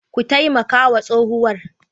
Ku taimaka wa tsohuwar.